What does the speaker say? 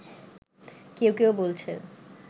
কেউ কেউ বলছে